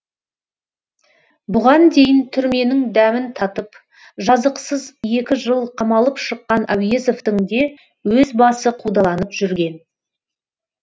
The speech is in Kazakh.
бұған дейін түрменің дәмін татып жазықсыз екі жыл қамалып шыққан әуезовтің де өз басы қудаланып жүрген